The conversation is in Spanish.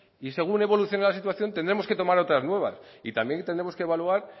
y según evolucione la situación tendremos que tomar otras nuevas y también tendremos que evaluar